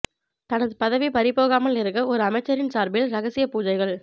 தனது பதவி பறிபோகாமல் இருக்க ஒரு அமைச்சரின் சார்பில் ரகசிய பூஜைகள்